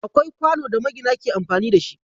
Akwai kwano da magina ke amfani da shi.